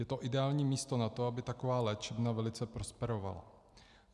Je to ideální místo na to, aby taková léčebna velice prosperovala.